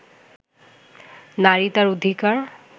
নারী তার অধিকার